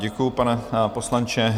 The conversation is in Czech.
Děkuji, pane poslanče.